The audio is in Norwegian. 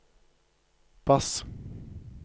bass